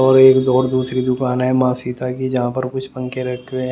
और एक और दूसरी दुकान है माँ सीता की जहाँ पर कुछ पंखे रखे हुए हैं।